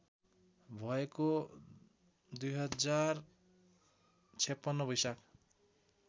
भएको २०५६ वैशाख